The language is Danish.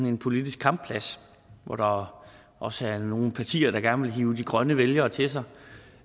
en politisk kampplads hvor der også er nogle partier der gerne vil hive de grønne vælgere til sig